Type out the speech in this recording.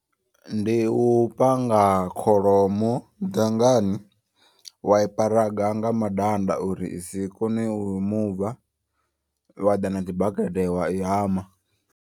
Ndi u panga kholomo dangani. Wa i paraga nga madanda uri isi kone u muva wa ḓa na tshibakete wa i hama.